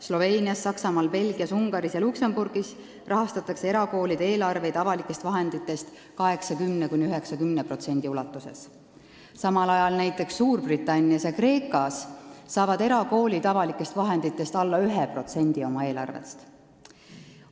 Sloveenias, Saksamaal, Belgias, Ungaris ja Luksemburgis rahastatakse erakoolide eelarveid avalikest vahenditest 80–90% ulatuses, samal ajal näiteks Suurbritannias ja Kreekas saavad erakoolid avalikest vahenditest alla 1% oma eelarvest.